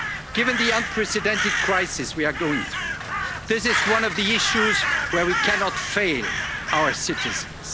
safety of workers. Given the unprecedented crisis we are going through, this is one of the issues where we cannot